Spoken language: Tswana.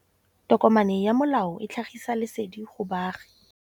Tokomane ya molao ke tlhagisi lesedi go baagi.